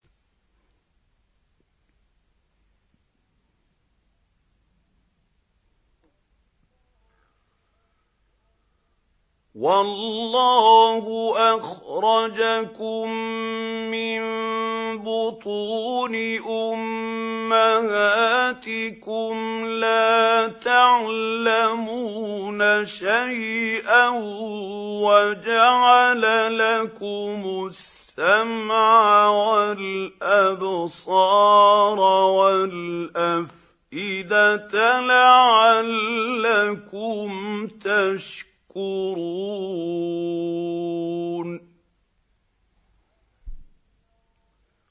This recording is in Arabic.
وَاللَّهُ أَخْرَجَكُم مِّن بُطُونِ أُمَّهَاتِكُمْ لَا تَعْلَمُونَ شَيْئًا وَجَعَلَ لَكُمُ السَّمْعَ وَالْأَبْصَارَ وَالْأَفْئِدَةَ ۙ لَعَلَّكُمْ تَشْكُرُونَ